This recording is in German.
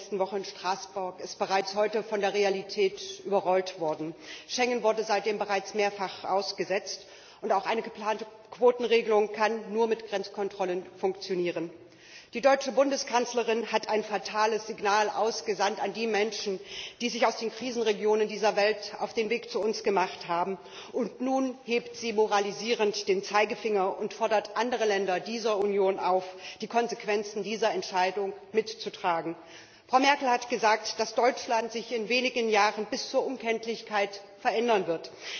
Frau Präsidentin! Herr Junckers Rede vor den Abgeordneten dieses Hauses in der letzten Woche in Straßburg ist bereits heute von der Realität überrollt worden. Schengen wurde seitdem bereits mehrfach ausgesetzt, und auch eine geplante Quotenregelung kann nur mit Grenzkontrollen funktionieren. Die deutsche Bundeskanzlerin hat ein fatales Signal ausgesandt an die Menschen, die sich aus den Krisenregionen dieser Welt auf den Weg zu uns gemacht haben. Und nun hebt sie moralisierend den Zeigefinger und fordert andere Länder dieser Union auf, die Konsequenzen dieser Entscheidung mitzutragen. Frau Merkel hat gesagt, dass Deutschland sich in wenigen Jahren bis zur Unkenntlichkeit verändern wird.